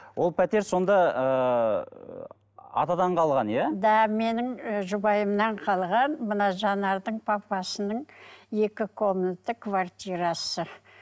ол пәтер сонда ыыы атадан қалған иә да менің ы жұбайымнан қалған мына жанардың папасының екі комната квартирасы